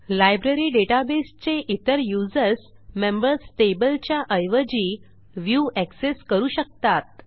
library database चे इतर users members tableच्या ऐवजी व्ह्यू एक्सेस करू शकतात